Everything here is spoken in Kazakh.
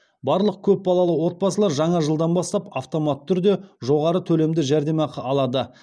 барлық көп балалы отбасылар жаңа жылдан бастап автоматты түрде жоғары төлемді жәрдемақы алады